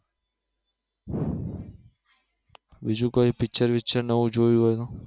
બીજું કોઈ picture picture નવું જોયું એમાં